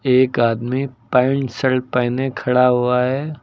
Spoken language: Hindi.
एक आदमी पैंट शर्ट पहने खड़ा हुआ है।